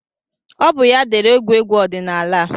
Ọ bụ ya dere egwuregwu ọdịnaala a